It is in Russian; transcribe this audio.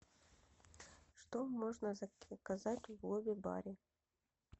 что можно заказать в лобби баре